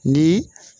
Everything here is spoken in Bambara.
Ni